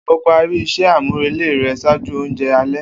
O pari iṣẹ amurele rẹ ṣaaju ounjẹ alẹ.